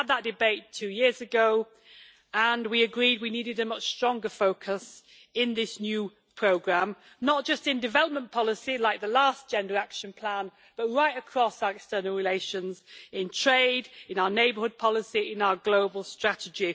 We had that debate two years ago and we agreed we needed a much stronger focus in this new programme, not just in development policy like the last Gender Action Plan, but right across our external relations in trade, in our neighbourhood policy and in our global strategy.